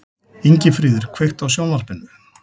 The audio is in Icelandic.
Ingifríður, kveiktu á sjónvarpinu.